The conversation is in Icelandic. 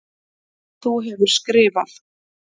Þú hefur skrifað.